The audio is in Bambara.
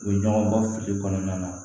U bɛ ɲɔgɔn bɔ fili kɔnɔna na